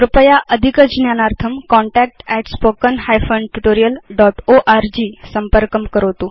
कृपया अधिकज्ञानार्थं contactspoken tutorialorg संपर्कं करोतु